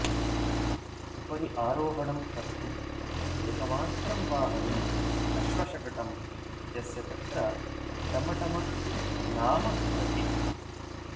उपरि आरोहणं कर्तुम् एकमात्रं वाहनम् आश्वशकटं यस्य तत्र टमटम इति नाम भवति